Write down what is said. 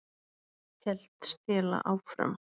hélt Stella áfram.